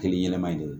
Kelen ɲɛnɛma ye dɛ